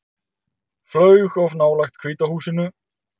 Flaug of nálægt Hvíta húsinu